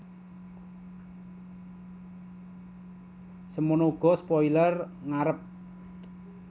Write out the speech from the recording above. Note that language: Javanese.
Semana uga spoiler ngarep